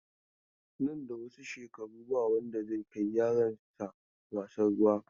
Nan da wasu shekaru ba wanda zai kai yaransa wasan ruwa.